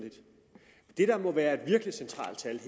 det er der må være et virkelig centralt tal